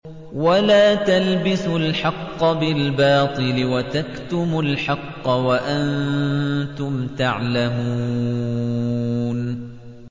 وَلَا تَلْبِسُوا الْحَقَّ بِالْبَاطِلِ وَتَكْتُمُوا الْحَقَّ وَأَنتُمْ تَعْلَمُونَ